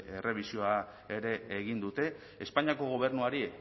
errebisioa ere egin dute espainiako gobernuari